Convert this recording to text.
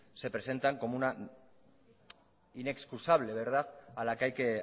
se presentan como una inexcusable verdad a la que hay que